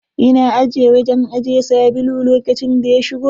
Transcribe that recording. Ina ajiye wajen ajiye sabulu lokacin da ya shigo.